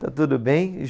Está tudo bem.